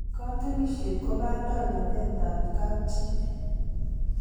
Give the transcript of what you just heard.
Katunisyet ko kandoindetab kapchi.